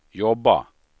jobba